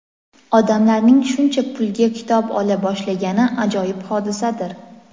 odamlarning shuncha pulga kitob ola boshlagani ajoyib hodisadir!.